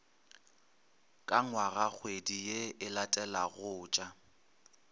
ka ngwagakgwedi ye e latelagotša